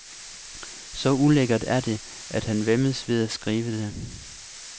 Så ulækkert er det, at han væmmes ved at skrive det.